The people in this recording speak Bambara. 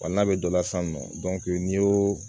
Wa n'a bɛ dɔ la sisan nɔ n'i y'o